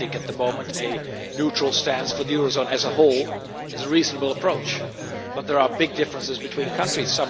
At the moment a neutral stance for the eurozone as a whole is a reasonable approach, but there are big differences between countries.